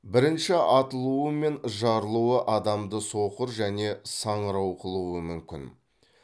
бірінші атылуы мен жарылуы адамды соқыр және саңырау қылуы мүмкін